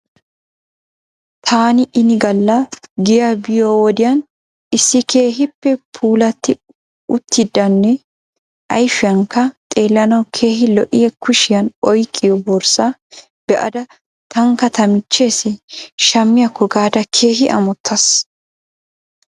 Taani inigala giyaa biyo wodiyan issi keehipe puulati uttidanne ayfiyankka xeelanaw keehi lo'iya kushiyan oyqqiyo borsaa be'ada tankka tamicheesi shamiyaako gaada keehi amotas